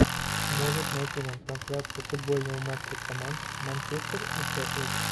можешь найти нам трансляцию футбольного матча команд манчестер и шеффилд